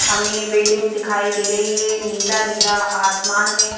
हमें बिल्डिंग दिखाई दे रही है नीला-नीला आसमान है।